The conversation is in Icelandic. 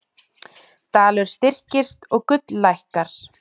Dalur styrkist og gull lækkar